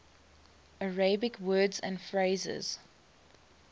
arabic words and phrases